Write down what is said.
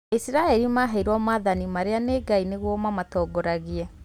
Aisiraeli maheirwo maathani marĩanĩ Ngai nĩguo mamatongorie